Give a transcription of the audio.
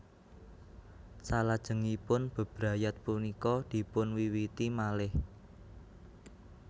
Salajengipun bebrayat punika dipunwiwiti malih